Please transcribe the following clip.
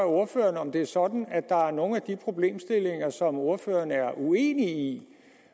ordføreren om det er sådan at der er nogle af de problemstillinger som ordføreren er uenig i